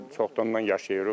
Burda çoxdandır yaşayırıq.